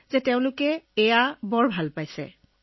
সময়ো ৰাহি হৈ আছে আৰু সকলো ধৰণৰ সুবিধাও পোৱা গৈছে